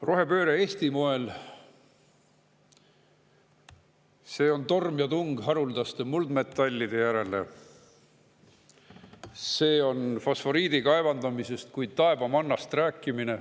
Rohepööre Eesti moel: see on torm ja tung haruldaste muldmetallide järele, see on fosforiidi kaevandamisest kui taevamannast rääkimine.